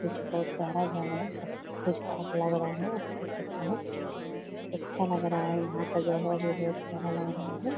यह जो कि बहुत बड़ा प्यारा घर है सब कुछ ठीक-ठाक लग रहा है। अच्छा-खासा हैअच्छा लग रहा है यहां आ का जगह भी बहुत बड़ा प्यारा लग रहा है।